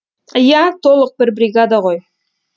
ия толық бір бригада ғой